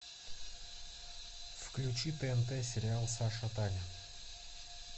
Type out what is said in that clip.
включи тнт сериал саша таня